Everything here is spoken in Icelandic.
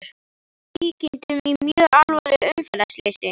Að öllum líkindum í mjög alvarlegu umferðarslysi!